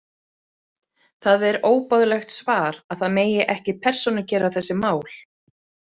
Það er óboðlegt svar að það megi ekki persónugera þessi mál.